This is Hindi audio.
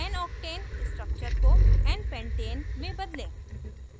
noctane structure को npentane में बदलें